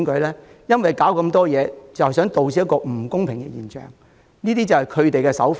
他們搞這麼多事，也是想導致不公平的現象出現，這便是他們的手法。